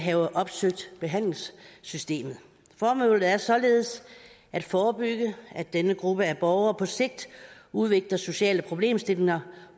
have opsøgt behandlingssystemet formålet er således at forebygge at denne gruppe af borgere på sigt udvikler sociale problemer